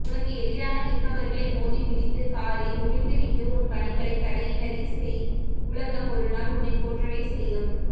உனக்கு எதிராக நிற்பவர்களை மோதி மிதித்து காரி உமிழ்ந்துவிட்டு உன் பணிகளை தடையினரிசெய் உலகம் ஒருநாள் உன்னை போற்றவே செய்யும்